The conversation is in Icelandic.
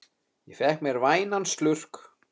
Ég fékk mér vænan slurk.